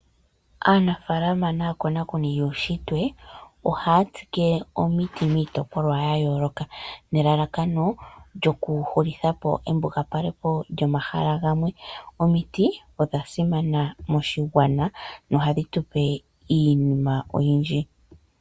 Aanafaalama naakonakoni yuushitwe ohaya kunu omiti miitopolwa ya yooloka. Elalakano okuhulitha po embugapalo lyomahala galwe. Omiti odha simana nohadhi tu pe iinima oyindji.